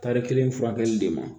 Tari kelen furakɛli de ma